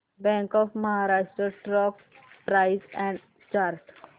bank of Maharashtra stock price and chart